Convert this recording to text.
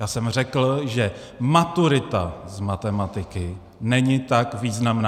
Já jsem řekl, že maturita z matematiky není tak významná.